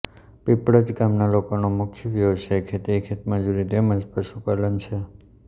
પીપળજ ગામના લોકોનો મુખ્ય વ્યવસાય ખેતી ખેતમજૂરી તેમ જ પશુપાલન છે